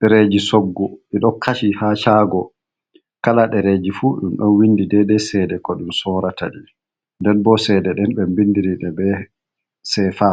Dereji soggu ɗiɗo kashi ha chago, kala ɗereji fu ɗum ɗon windi dede cede ko ɗum sorata di, den bo cede ɗen ɓe bindiride be sefa,